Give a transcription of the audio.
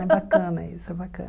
É bacana isso, é bacana.